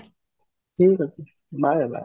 ଠିକ ଅଛି bye bye